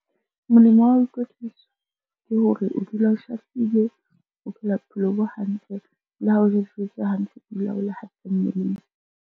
Molemo wa ho ikwetlisa ke hore o dula o shahlile, o phela bophelo bo hantle le ha o o dula o le hantle mmeleng.